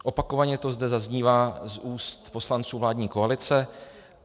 Opakovaně to zde zaznívá z úst poslanců vládní koalice.